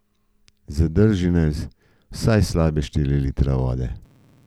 Zadrži naj vsaj slabe štiri litre vode.